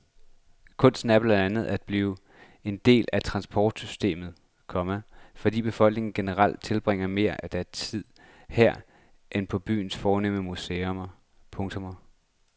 Kunsten er blandt andet blevet en del af transportsystemet, komma fordi befolkningen generelt tilbringer mere af deres tid her end på byens fornemme museer. punktum